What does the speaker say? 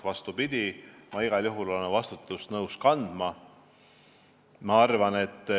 Vastupidi, ma olen igal juhul nõus vastutust kandma.